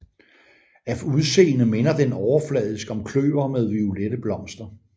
Af udseende minder den overfladisk om kløver med violette blomster